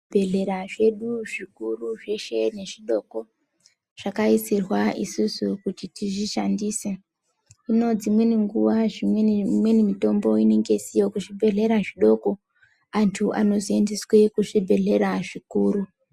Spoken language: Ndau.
Zvibhedhlera zvedu zvikuru nezvidoko, zvakaisirwa isusu kuti tizvishandise. Hino dzimweni nguwa imweni mitombo inenge isiyo kuzvibhedhlera zvidoko, antu anozoindiswe kuzvibhedhlera zvikuru.